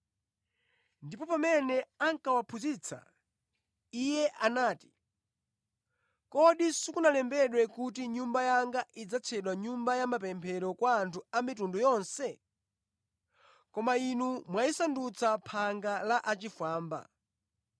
Ndipo pamene ankawaphunzitsa, Iye anati, “Kodi sikunalembedwe kuti, ‘Nyumba yanga idzatchedwa Nyumba ya mapemphero kwa anthu a mitundu yonse?’ Koma inu mwayisandutsa ‘phanga la achifwamba.’ ”